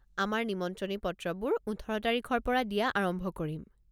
আমাৰ নিমন্ত্ৰণী পত্ৰবোৰ ওঠৰ তাৰিখৰ পৰা দিয়া আৰম্ভ কৰিম।